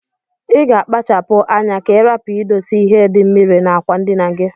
Iga akpacha pu anya ka irapu idose ihe di mmiri na akwa ndina gi.